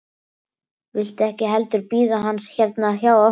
Viltu ekki heldur bíða hans hérna hjá okkur?